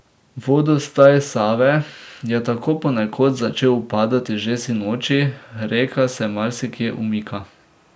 Vodostaj Save je tako ponekod začel upadati že sinoči, reka se marsikje umika.